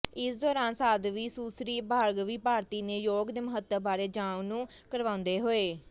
ਇਸ ਦੌਰਾਨ ਸਾਧਵੀ ਸੁਸ੍ਰੀ ਭਾਰਗਵੀ ਭਾਰਤੀ ਨੇ ਯੋਗ ਦੇ ਮਹੱਤਵ ਬਾਰੇ ਜਾਣੂ ਕਰਵਾਉਂਦੇ ਹੋਏ